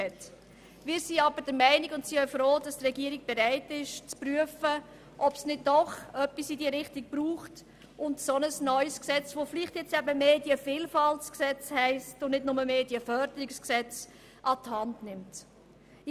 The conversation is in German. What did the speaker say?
Wir sind froh, ist die Regierung bereit, zu prüfen, ob es nicht doch etwas in dieser Art braucht, und sie vielleicht ein neues Gesetz – welches dann vielleicht «Medienvielfaltsgesetz» und nicht «Medienförderungsgesetz» heissen könnte – an die Hand nehmen sollte.